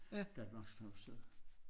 Danmarks tavshed